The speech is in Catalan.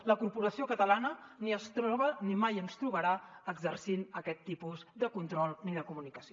a la corporació catalana ni ens troba ni mai ens trobarà exercint aquests tipus de control ni de comunicació